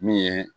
Min ye